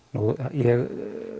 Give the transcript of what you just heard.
ég